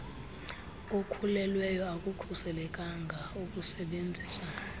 okhulelweyo akukhuselekanga ukusebenzisa